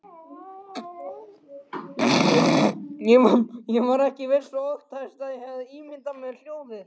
Ég var ekki viss og óttaðist að ég hefði ímyndað mér hljóðið.